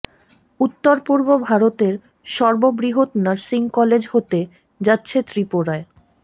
উত্তর পূর্ব ভারতের সর্ব বৃহৎ নার্সিং কলেজ হতে যাচ্ছে ত্রিপুরায়